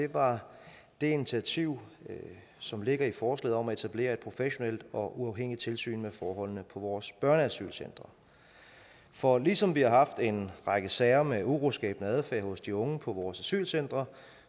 var det initiativ som ligger i forslaget om at etablere et professionelt og uafhængigt tilsyn med forholdene på vores børneasylcentre for ligesom vi har haft en række sager med uroskabende adfærd hos de unge på vores asylcentre